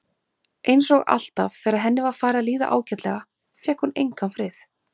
Það eru annars nokkrar bækur hér í ytri stofunni, taktu þær sem þú vilt.